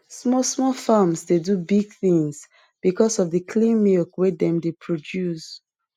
small small farms dey do big things because of the clean milk wey dem dey produce